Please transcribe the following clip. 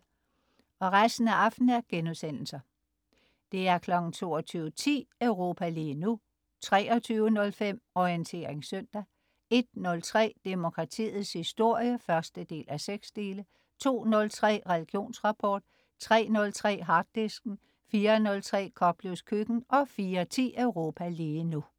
22.10 Europa lige nu* 23.05 Orientering søndag* 01.03 Demokratiets historie 1:6* 02.03 Religionsrapport* 03.03 Harddisken* 04.03 Koplevs Køkken* 04.10 Europa lige nu*